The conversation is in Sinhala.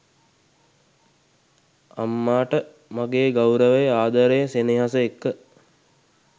අම්මාට මගේ ගෞරවය ආදරය සෙනෙහස එක්ක